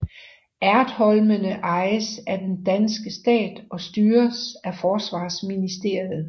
Ertholmene ejes af den danske stat og styres af Forsvarsministeriet